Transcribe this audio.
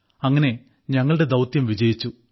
അങ്ങനെ ഞങ്ങളുടെ ദൌത്യം വിജയിച്ചു